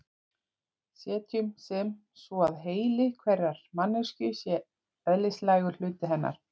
Setjum sem svo að heili hverrar manneskju sé eðlislægur hluti hennar.